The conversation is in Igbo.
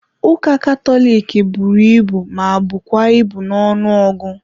Ụka Katọlik buru ibu ma bụkwa ibu na ọnụọgụ.